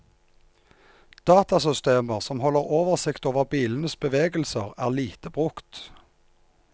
Datasystemer som holder oversikt over bilenes bevegelser, er lite brukt.